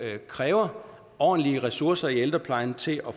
kræver ordentlige ressourcer i ældreplejen til at